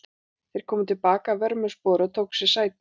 Þeir komu til baka að vörmu spori og tóku sér sæti.